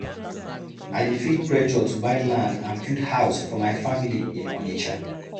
I dey feel pressure to buy land and build house for my family in Onitsha.